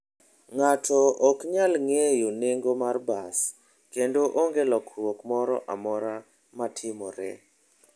Ng'ato ok nyal ng'eyo nengo mar bas, kendo onge lokruok moro amora matimore.